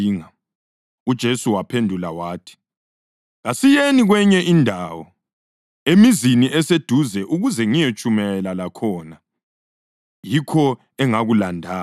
UJesu waphendula wathi, “Kasiyeni kwenye indawo, emizini eseduze ukuze ngiyetshumayela lakhona. Yikho engakulandayo.”